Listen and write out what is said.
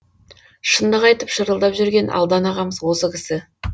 шындық айтып шырылдап жүрген алдан ағамыз осы кісі